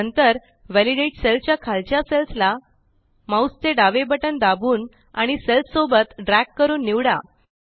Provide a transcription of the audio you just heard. नंतर validate cell च्या खालच्या सेल्स ला माउस चे डावे बटन दाबून आणि सेल्स सोबत ड्रॅग करून निवडा